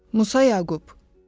Musa Yaqub.